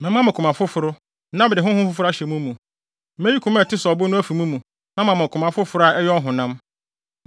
Mɛma mo koma foforo na mede honhom foforo ahyɛ mo mu. Meyi koma a ɛte sɛ ɔbo no afi mo mu na mama mo koma foforo a ɛyɛ ɔhonam.